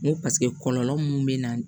N ko paseke kɔlɔlɔ mun bɛ na